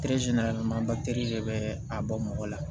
de bɛ a bɔ mɔgɔ la